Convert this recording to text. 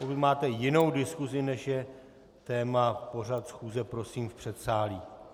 Pokud máte jinou diskusi, než je téma pořad schůze, prosím v předsálí.